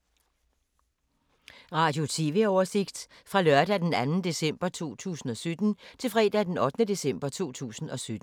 Radio/TV oversigt fra lørdag d. 2. december 2017 til fredag d. 8. december 2017